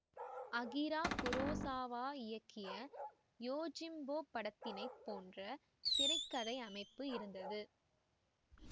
Akira Kurosawa இயக்கிய Yojimbo படத்தினைப் போன்ற திரை கதை அமைப்பு இருந்தது